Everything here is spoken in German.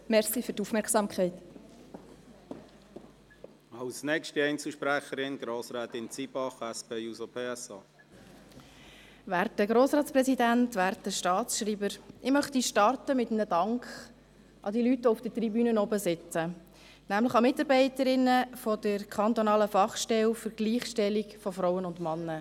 Ich möchte mit einem Dank an diejenigen Leute beginnen, die auf der Tribüne sitzen, nämlich die Mitarbeiterinnen der kantonalen Fachstelle für die Gleichstellung von Frauen und Männern.